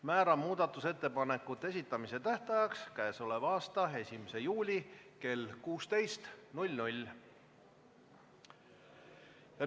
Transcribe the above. Määran muudatusettepanekute esitamise tähtajaks k.a 1. juuli kell 16.